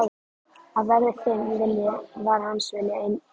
Að verði þinn vilji, var hans vilji einnig.